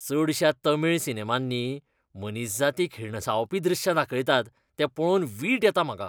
चडश्या तामीळ सिनेमांनी मनीसजातीक हिणसावपी दृश्यां दाखयतात तें पळोवन वीट येता म्हाका.